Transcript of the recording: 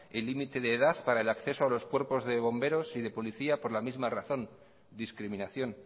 el límite de edad para el acceso a los cuerpos de bomberos y de policía por la misma razón discriminación